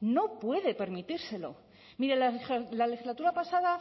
no puede permitírselo mire la legislatura pasada